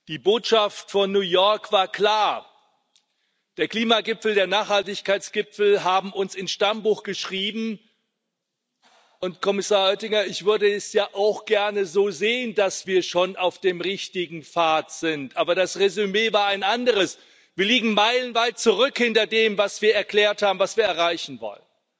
Die Botschaft von New York war klar Der Klimagipfel, der Nachhaltigkeitsgipfel hat uns ins Stammbuch geschrieben und Kommissar Oettinger, ich würde es ja auch gerne so sehen, dass wir schon auf dem richtigen Pfad sind, aber das Resümee war ein anderes Wir liegen meilenweit zurück hinter dem, was wir erklärt haben, erreichen zu wollen.